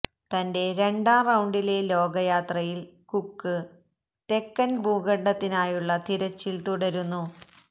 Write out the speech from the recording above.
തന്റെ രണ്ടാം റൌണ്ടിലെ ലോക യാത്രയിൽ കുക്ക് തെക്കൻ ഭൂഖണ്ഡത്തിനായുള്ള തിരച്ചിൽ തുടരുന്നു